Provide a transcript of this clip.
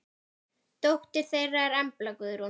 Dóttir þeirra er Embla Guðrún.